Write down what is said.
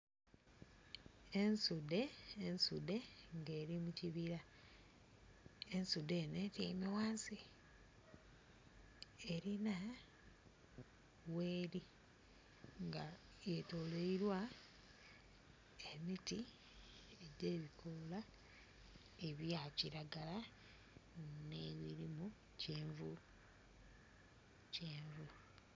Ensude ensude nga eli mu kibira, ensude eno etyeime wansi. Erina weli nga wetolweilwa emiti edhe bikola ebya kiragala ne birimu kyenvu kyenvu.